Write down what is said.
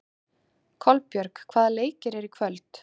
Kolbjörg, hvaða leikir eru í kvöld?